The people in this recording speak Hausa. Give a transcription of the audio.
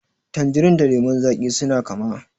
Tanjirin da lemon zaƙi suna kama.